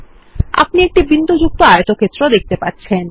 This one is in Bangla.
আপনি একটি বিন্দুযুক্ত আয়তক্ষেত্র দেখতে পাচ্ছেন